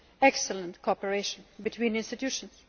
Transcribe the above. excellent cooperation between institutions.